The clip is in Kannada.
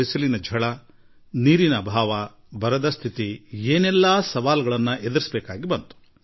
ಬೇಸಿಗೆಯ ಬಿರು ಬಿಸಿಲು ನೀರಿನ ಅಭಾವ ಕ್ಷಾಮ ಪರಿಸ್ಥಿತಿ ಮತ್ತು ಇನ್ನೂ ಹಲವು